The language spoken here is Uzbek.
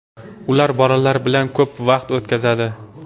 Ular bolalar bilan ko‘p vaqt o‘tkazadi.